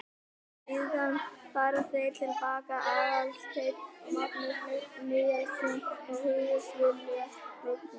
Síðan fara þeir til baka, Aðalsteinn og Magnús Níelsson, og hugðust vitja hrognkelsa.